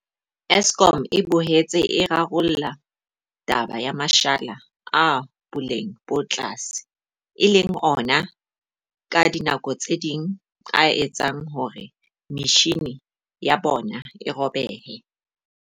Eskom e boetse e rarolla taba ya mashala a boleng bo tlase, e leng ona ka dinako tse ding a etsang hore metjhini ya bona e robehe.